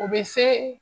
O bɛ se